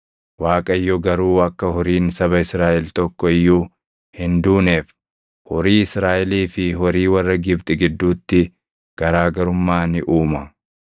Waaqayyo garuu akka horiin saba Israaʼel tokko iyyuu hin duuneef horii Israaʼelii fi horii warra Gibxi gidduutti garaa garummaa ni uuma.’ ”